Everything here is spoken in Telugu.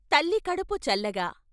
తల్లికడుపు చల్లగా....